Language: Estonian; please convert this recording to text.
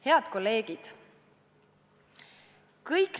Head kolleegid!